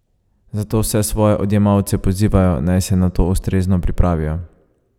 Zato vse svoje odjemalce pozivajo, naj se na to ustrezno pripravijo.